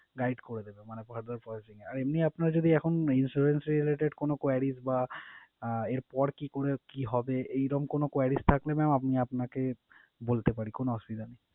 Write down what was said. guide করে দেবে মানে further querising এ। আর এমনি আপনার যদি এখন insurance related কোন queries বা আহ এরপর কি করলে কি হবে? এইরম কোন queries থাকলে mam আপনি আপনাকে বলতে পারেন কোন অসুবিধা নেই।